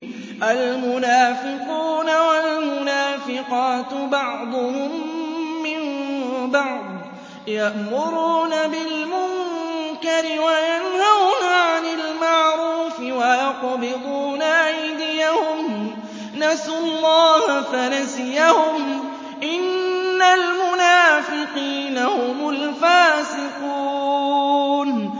الْمُنَافِقُونَ وَالْمُنَافِقَاتُ بَعْضُهُم مِّن بَعْضٍ ۚ يَأْمُرُونَ بِالْمُنكَرِ وَيَنْهَوْنَ عَنِ الْمَعْرُوفِ وَيَقْبِضُونَ أَيْدِيَهُمْ ۚ نَسُوا اللَّهَ فَنَسِيَهُمْ ۗ إِنَّ الْمُنَافِقِينَ هُمُ الْفَاسِقُونَ